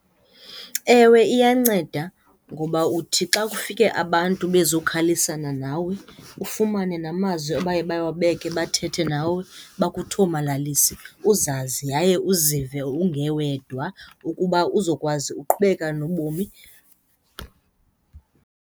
Ewe, iyanceda ngoba uthi xa kufike abantu bezokhalisana nawe, ufumane namazwi abaye bawabeke, bathethe nawe bakuthomalalise uzazi yaye uzive ungewedwa ukuba uzokwazi uqhubeka nobomi.